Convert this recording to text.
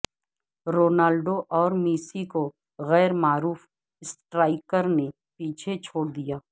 Ronaldo اورمیسی کو غیر معروف اسٹرائیکر نے پیچھے چھوڑ دیا